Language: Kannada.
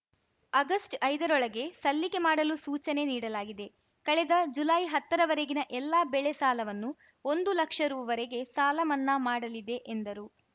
ಆಗಸ್ಟ್ಐದರೊಳಗೆ ಸಲ್ಲಿಕೆ ಮಾಡಲು ಸೂಚನೆ ನೀಡಲಾಗಿದೆ ಕಳೆದ ಜುಲೈಹತ್ತರವರೆಗಿನ ಎಲ್ಲಾ ಬೆಳೆ ಸಾಲವನ್ನು ಒಂದು ಲಕ್ಷ ರುವರೆಗೆ ಸಾಲಮನ್ನಾ ಮಾಡಲಿದೆ ಎಂದರು